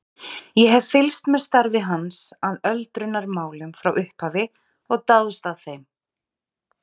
Ég hef fylgst með starfi hans að öldrunarmálum frá upphafi og dáðst að þeim.